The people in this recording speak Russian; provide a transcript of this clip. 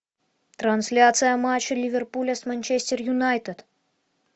трансляция матча ливерпуля с манчестер юнайтед